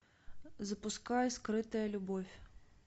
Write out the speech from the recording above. запускай скрытая любовь